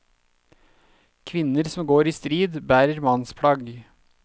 Kvinner som går i strid, bærer mannsplagg.